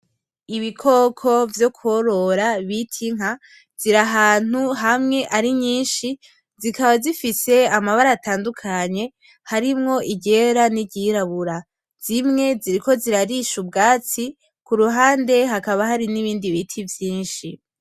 Ibikoko vyo kworora bita inka, ziri ahantu hamwe ari nyinshi zikaba zifise amabara atandukanye harimwo iryera n'iryirabura zimwe ziriko zirarisha ubwatsi kuruhande hakaba hari n'ibindi biti vyinshi.